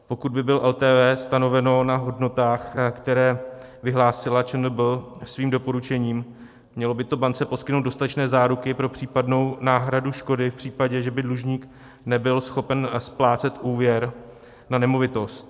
Pokud by bylo LTV stanoveno na hodnotách, které vyhlásila ČNB svým doporučením, mělo by to bance poskytnout dostatečné záruky pro případnou náhradu škody v případě, že by dlužník nebyl schopen splácet úvěr na nemovitost.